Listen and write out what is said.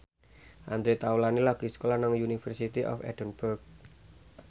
Andre Taulany lagi sekolah nang University of Edinburgh